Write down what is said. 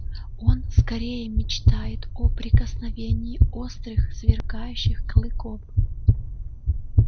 он скорее мечтает о прикосновении острых сверкающих клыков